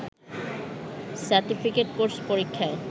certificate course পরীক্ষায়